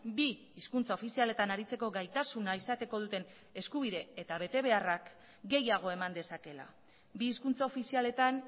bi hizkuntza ofizialetan aritzeko gaitasuna izateko duten eskubide eta betebeharrak gehiago eman dezakeela bi hizkuntza ofizialetan